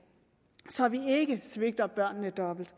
så vi ikke svigter børnene dobbelt